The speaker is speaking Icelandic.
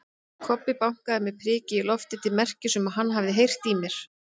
Kobbi bankaði með priki í loftið til merkis um að hann hafi heyrt í